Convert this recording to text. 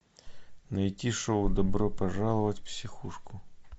найти шоу добро пожаловать в психушку